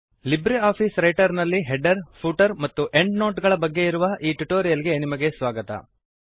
Libre office Writer ನಲ್ಲಿ header footer ಮತ್ತು endnote ಗಳ ಬಗ್ಗೆ ಇರುವ ಈ ಟ್ಯುಟೋರಿಯಲ್ ಗೆ ನಿಮಗೆ ಸ್ವಾಗತ